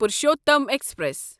Purushottam express